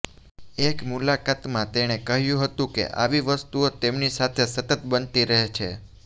એક મુલાકાતમાં તેણે કહ્યું હતું કે આવી વસ્તુઓ તેમની સાથે સતત બનતી રહે છે